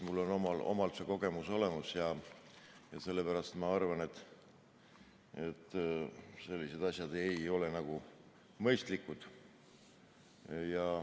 Mul on endal see kogemus olemas ja sellepärast ma arvangi, et sellised asjad ei ole mõistlikud.